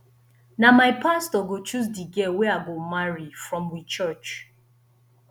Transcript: na my pastor go choose di girl wey i go marry from we church